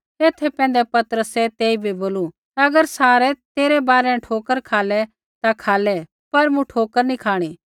एथा पैंधै पतरसै तेइबै बोलू अगर सारै तेरै बारै न ठोकर खालै ता खालै पर मूँ ठोकर नी खाँणी